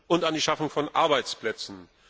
und an die Schaffung von Arbeitsplätzen.